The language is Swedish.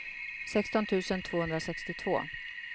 sexton tusen tvåhundrasextiotvå